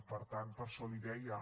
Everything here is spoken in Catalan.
per tant per això li ho deia